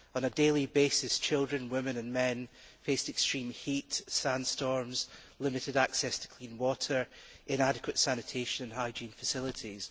On a daily basis, children, women and men face extreme heat, sandstorms, limited access to clean water, inadequate sanitation and hygiene facilities.